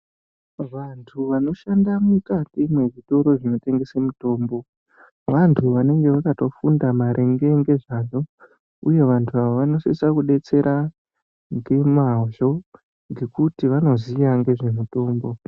Vantu vanoshanda mukati mwezvitoro zvinotengeswe mitombo vantu vanenge vakatofunda maringe ngezvazvo uye vantu ava vanosisa kudetsera ngemwazvo ngekuti vanoziya ngezvemitombo.